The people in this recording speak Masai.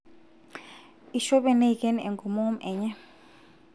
ishope neiken enkomomo enye